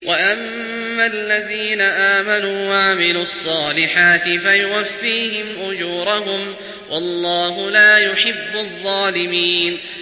وَأَمَّا الَّذِينَ آمَنُوا وَعَمِلُوا الصَّالِحَاتِ فَيُوَفِّيهِمْ أُجُورَهُمْ ۗ وَاللَّهُ لَا يُحِبُّ الظَّالِمِينَ